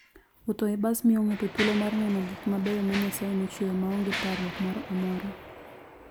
Wuoth e bas miyo ng'ato thuolo mar neno gik mabeyo ma Nyasaye nochueyo ma onge parruok moro amora.